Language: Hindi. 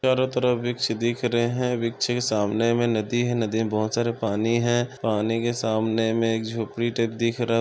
चारो तरफ वृक्ष दिख रहे हैं वृक्ष के सामने मे नदी है नदी मे बहोत सारे पानी है पानी के सामने मे एक झोंपरी टाईप दिख रहा--